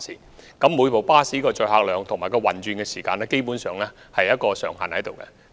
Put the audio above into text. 每輛穿梭巴士的載客量和運轉時間基本上設有上限。